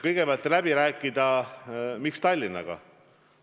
Kõigepealt, kui läbi rääkida, siis miks ainult Tallinnaga?